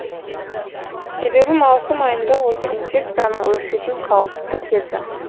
себебі маусым айында осы инфекцияның өршитін қауіпті кезі